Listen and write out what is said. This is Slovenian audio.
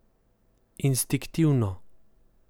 Instinktivno.